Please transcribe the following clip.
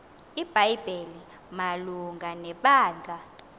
ibhayibhile malunga nebandla